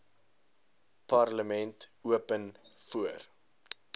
parlement open voor